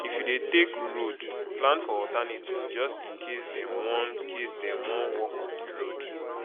if you dey take road plan for alternative just in case dem wan case dem wan work on di road